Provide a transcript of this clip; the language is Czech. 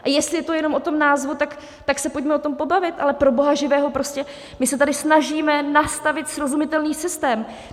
A jestli je to jenom o tom názvu, tak se pojďme o tom pobavit, ale pro boha živého, prostě my se tady snažíme nastavit srozumitelný systém.